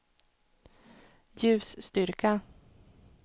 ljusstyrka